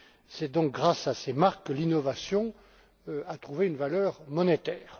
C'est donc grâce à ces marques que l'innovation a trouvé une valeur monétaire.